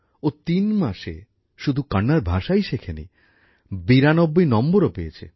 ও তিন মাসে শুধু কন্নড় ভাষাই শেখেনি ৯২ নম্বরও পেয়েছে